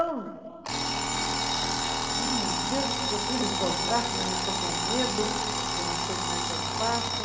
Ai, meu Deus, eu preciso assinar esse contrato, mas eu estou com medo, eu não sei como é que eu faço.